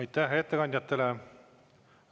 Aitäh ettekandjatele!